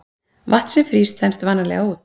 vatn sem frýs þenst vanalega út